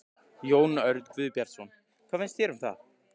Jón Örn Guðbjartsson: Hvað finnst þér um það?